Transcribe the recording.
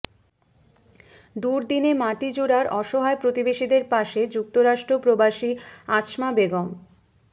দুর্দিনে মাটিজুরার অসহায় প্রতিবেশীদের পাশে যুক্তরাষ্ট্র প্রবাসী আছমা বেগম